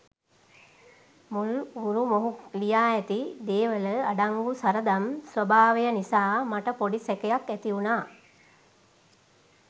මුල් ගුරුමොහු ලියා ඇති දේවල අඩංගු සරදම් ස්වභාවය නිසා මට පොඩි සැකයක් ඇතිවුණා.